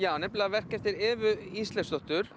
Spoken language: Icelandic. verk eftir Evu Ísleifsdóttir